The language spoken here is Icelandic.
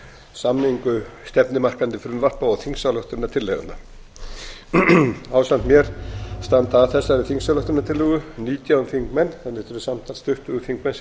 samningu stefnumarkandi frumvarpa og þingsályktunartillagna ásamt mér standa að þessari þingsályktunartillögu nítján þingmenn þannig að þetta eru samtals tuttugu þingmenn sem